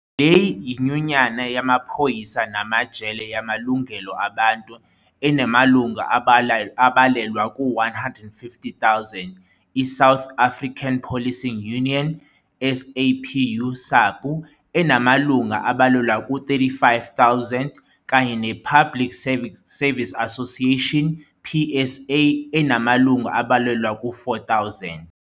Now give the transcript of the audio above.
Leyi yinyunyana yamaPhoyisa namaJele Yamalungelo Abantu, enamalungu abalelwa ku-150 000, iSouth African Policing Union, SAPU, SAPU, enamalunga abalelwa ku-35,000, kanye ne-Public Service Association, PSA, enamalungu abalelwa ku-4,000.